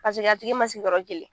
Paseke a tigi masigi yɔrɔ kelen.